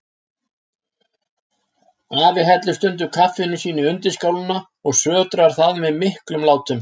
Afi hellir stundum kaffinu sínu í undirskálina og sötrar það með miklum látum.